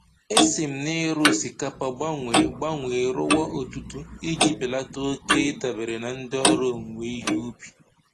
E si m na-ịrụ osikapa gbanwee gbanwee rụwa odudu iji belata oke ịdabere na ndị ọrụ owuwe ihe ubi